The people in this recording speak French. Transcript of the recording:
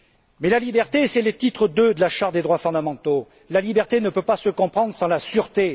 Mais la liberté c'est le titre II de la Charte des droits fondamentaux ne peut pas se comprendre sans la sûreté.